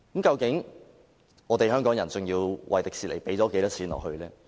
究竟香港人要為迪士尼投入多少錢呢？